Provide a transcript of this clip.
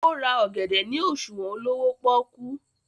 o rà ògèdè ní òṣuwọn olówó poku.